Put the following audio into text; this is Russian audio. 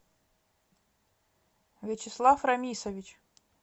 вячеслав рамисович